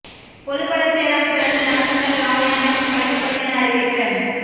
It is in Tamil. பொதுபல சேனாவைத் தொடர்ந்து நவ சிங்கள ராவய அமைப்பும் கலைக்கப்படும் என அறிவிப்பு